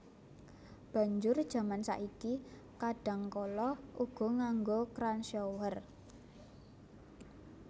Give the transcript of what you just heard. Banjur jaman saiki kadhangkala uga nganggo kran shower